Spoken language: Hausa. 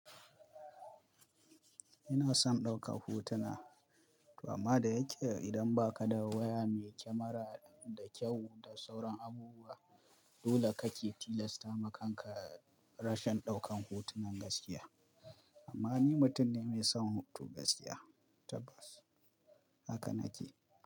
Ina son ɗaukan hotuna, amma da yake idan ba ka da waya mai kyamara da kyau da sauran abubuwa, dole kake tilasta makanka rashin ɗaukan hotunan gaskiya. Amma ni mutum ne mai son hoto gaskiya tabbas, haka nake.